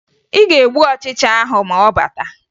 Ị ga-egbu ọchịcha ahụ ma ọ bata